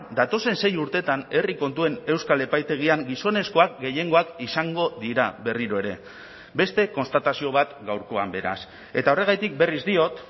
datozen sei urteetan herri kontuen euskal epaitegian gizonezkoak gehiengoak izango dira berriro ere beste konstatazio bat gaurkoan beraz eta horregatik berriz diot